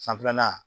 Sanfɛlanan